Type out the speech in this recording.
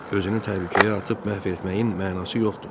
Özünü təhlükəyə atıb məhv etməyin mənası yoxdur.